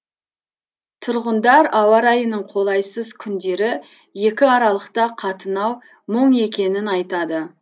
тұрғындар ауа райының қолайсыз күндері екі аралықта қатынау мұң екенін айтады